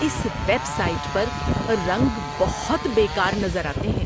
اس website پر رنگ بہت بے کار نظر آتے ہیں۔